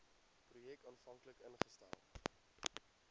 projek aanvanklik ingestel